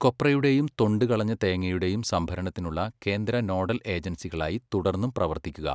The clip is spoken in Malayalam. കൊപ്രയുടെയൂം തൊണ്ട് കളഞ്ഞ തേങ്ങയുടെയും സംഭരണത്തിനുള്ള കേന്ദ്ര നോഡൽ ഏജൻസികളായി തുടർന്നും പ്രവർത്തിക്കുക.